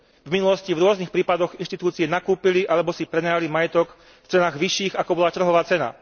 V minulosti v rôznych prípadoch inštitúcie nakúpili alebo si prenajali majetok v cenách vyšších, ako bola trhová cena.